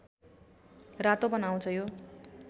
रातो बनाउँछ यो